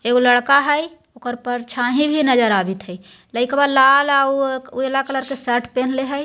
एक लड़का हैय उकर परछाई भी नजर आवित हैं लइकवा लाल-अ-उ नीला कलर के सर्ट पहन ले हैय।